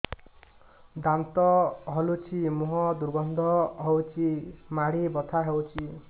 ଦାନ୍ତ ହଲୁଛି ମୁହଁ ଦୁର୍ଗନ୍ଧ ହଉଚି ମାଢି ବଥା ହଉଚି